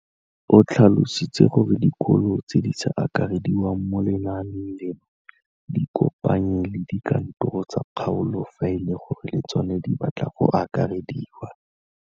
O tlhalositse gore dikolo tse di sa akarediwang mo lenaaneng leno di ikopanye le dikantoro tsa kgaolo fa e le gore le tsona di batla go akarediwa.